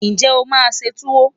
Ǹjẹ́ o máa se Tuwo?